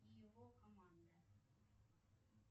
и его команда